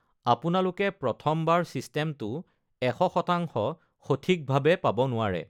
আপোনালোকে প্ৰথমবাৰ ছিষ্টেমটো ১০০% সঠিকভাৱে পাব নোৱাৰে।